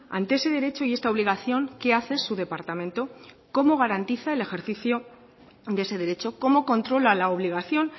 ante ese derecho y esta obligación qué hace su departamento cómo garantiza el ejercicio de ese derecho cómo controla la obligación